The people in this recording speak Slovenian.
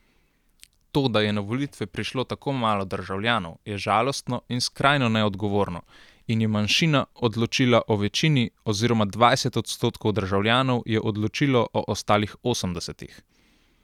To, da je na volitve prišlo tako malo državljanov, je žalostno in skrajno neodgovorno in je manjšina odločila o večini oziroma dvajset odstotkov državljanov je odločilo o ostalih osemdesetih.